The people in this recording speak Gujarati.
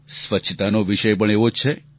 સ્વચ્છતાનો વિષય પણ એવો જ છે